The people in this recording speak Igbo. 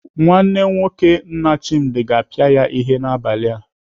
Nwanne nwoke nna Chimdi ga-apịa ya ihe n'abalị a.